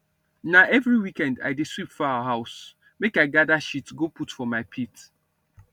na every weekend i dey sweep foul house make i gather shit go put for my pit